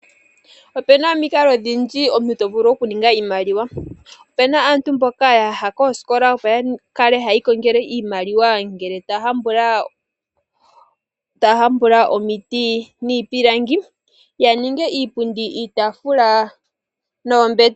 Opena omikalo ondhindji omuntu tovulu oku ninga iimaliwa. Opena aantu mboka yaha koosikola opo yakale ohayi kongele oshimaliwa ngele taa hambula omiti niipilangi yaninge iipundi, iitaafula noombete.